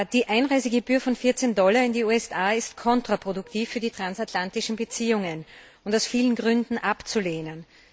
Die Einreisegebühr von 14 Dollar in die USA ist kontraproduktiv für die transatlantischen Beziehungen und aus vielen Gründen abzulehnen.